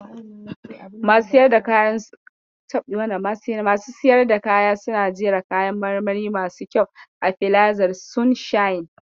Masu siyar da kaya suna jera kayan marmari masu kyau a filazar sunshine.